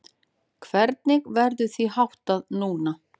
Hvernig verður því háttað núna?